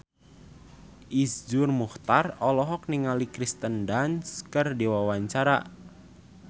Iszur Muchtar olohok ningali Kirsten Dunst keur diwawancara